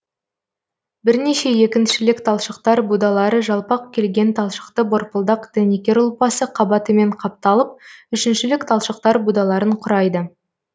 бірнеше екіншілік талшықтар будалары жалпақ келген талшықты борпылдақ дәнекер ұлпасы қабатымен қапталып үшіншілік талшықтар будаларын құрайды